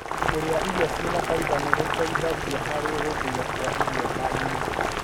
Kũrĩa irio cĩĩna faimba nĩ gũteithagia harĩ gũthĩo kwa irio ndainĩ.